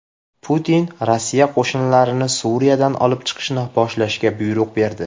Putin Rossiya qo‘shinlarini Suriyadan olib chiqishni boshlashga buyruq berdi.